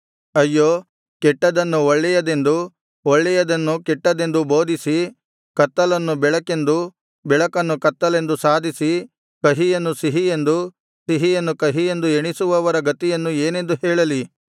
ಅಯ್ಯೋ ಕೆಟ್ಟದ್ದನ್ನು ಒಳ್ಳೆಯದೆಂದೂ ಒಳ್ಳೆಯದನ್ನು ಕೆಟ್ಟದೆಂದೂ ಬೋಧಿಸಿ ಕತ್ತಲನ್ನು ಬೆಳಕೆಂದೂ ಬೆಳಕನ್ನು ಕತ್ತಲೆಂದೂ ಸಾಧಿಸಿ ಕಹಿಯನ್ನು ಸಿಹಿಯೆಂದು ಸಿಹಿಯನ್ನು ಕಹಿ ಎಂದು ಎಣಿಸುವವರ ಗತಿಯನ್ನು ಏನೆಂದು ಹೇಳಲಿ